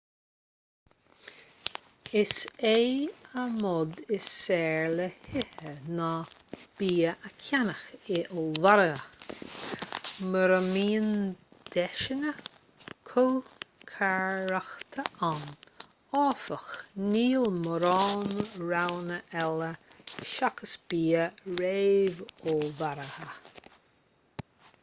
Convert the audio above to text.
is é an modh is saoire le hithe ná bia a cheannach in ollmhargaidh mura mbíonn deiseanna cócaireachta ann áfach níl mórán roghanna eile seachas bia réamhullmhaithe